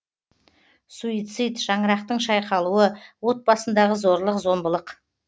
суицид шаңырақтың шайқалуы отбасындағы зорлық зомбылық